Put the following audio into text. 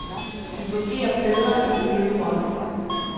De fungerer bedre i den nye rolle.